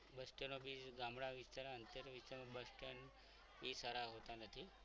bus stand અંતર બી ગામડા વિસ્તાર bus stand સારા હોતા નથી.